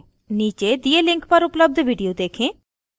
नीचे दिए link पर उपलब्ध video देखें